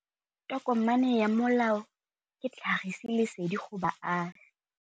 Tokomane ya molao ke tlhagisi lesedi go baagi.